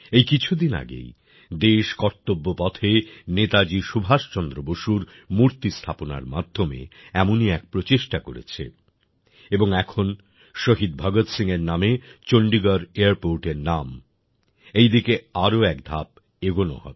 এই কিছুদিন আগেই দেশ কর্তব্যপথে নেতাজি সুভাষচন্দ্র বসুর মূর্তি স্থাপনার মাধ্যমে এমনই এক প্রচেষ্টা করেছে এবং এখন শহীদ ভগৎ সিংএর নামে চন্ডিগড় এয়ারপোর্টএর নাম এই দিকে আরো একধাপ এগোনো হবে